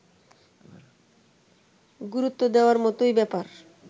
গুরুত্ব দেওয়ার মতোই ব্যাপার